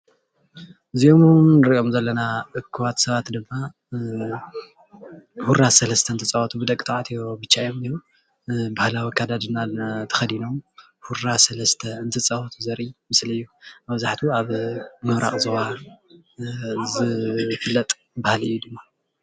እዚኦም እንሪኦም ዘለና እኩባት ሰባት ድማ ሁራ ሰለስተ እንትፃወቱ ብደቂ ተባዕትዮ ብቻ እዮም ዝንሄዉ፡፡ ባህላዊ ኣከዳድና ተከዲኖም ሁራ ሰለስተ እንትፃወቱ ዘርኢ ምስሊ እዩ፡፡ መብዛሕትኡ ኣብ ምብራቅ ዞባ ዝፍለጥ ባህሊ እዩ፡፡